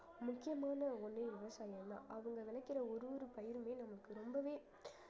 முக்கியமான ஒன்னே விவசாயம்தான் அவங்க விளைக்கிற ஒரு ஒரு பயிருமே நமக்கு ரொம்பவே